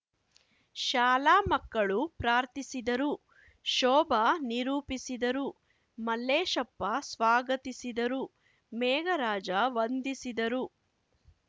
ಶಾಲಾ ಮಕ್ಕಳು ಪ್ರಾರ್ಥಿಸಿದರು ಶೋಭಾ ನಿರೂಪಿಸಿದರು ಮಲ್ಲೇಶಪ್ಪ ಸ್ವಾಗತಿಸಿದರು ಮೇಘರಾಜ ವಂದಿಸಿದರು